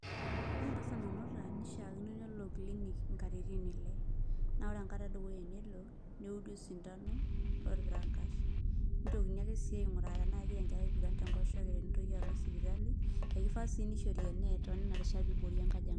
Ore entasat nanuta neishaakino nelo clinic katitin ile, naa ore enkata edukuya tenelo neudi osindano lorpirangash nitoki ake sii ainguraa tenaa kegira enkerai aigura tenkoshe nitoki alo sipitali nishaa sii teneishori enet pee iboori enkojangani.